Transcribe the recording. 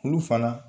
Olu fana